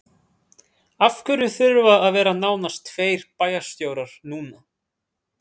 Af hverju þurfa að vera nánast tveir bæjarstjórar núna?